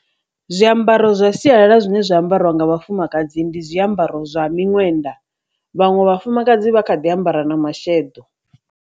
Zwiambaro zwa sialala zwine zwa ambariwa nga vhafumakadzi ndi zwiambaro zwa miṅwenda vhaṅwe vhafumakadzi vha kha ḓi ambara na masheḓo.